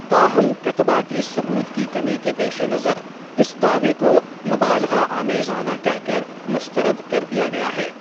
تاہم کتباتی ثبوت کی کمی کے پیش نظر اس دعوے کو 'مبالغہ آمیزانہ' کہہ کر مسترد کر دیا گیا ہے۔